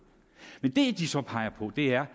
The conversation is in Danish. men det de så peger på er